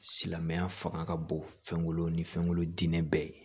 Silamɛya fanga ka bon fɛn kolo ni fɛnw diinɛ bɛɛ ye